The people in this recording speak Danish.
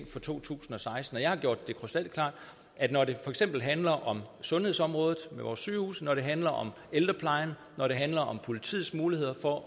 for to tusind og seksten jeg har gjort det krystalklart at når det for eksempel handler om sundhedsområdet med vores sygehuse når det handler om ældreplejen når det handler om politiets muligheder for